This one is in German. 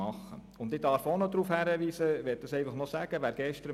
Ich möchte noch auf Folgendes hinweisen: